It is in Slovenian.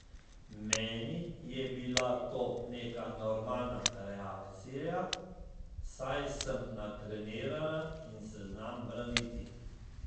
Meni je bila to neka normalna reakcija, saj sem natrenirana in se znam braniti.